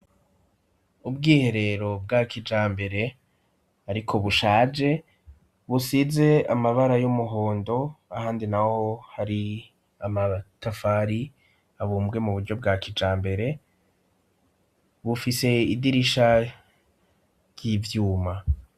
Ubwiherero bwa kijambere ariko bushaje, busize amabara y'umuhondo ahandi naho hari amatafari abumbwe mu buryo bwa kijambere, bufise idirisha ry'ivyuma.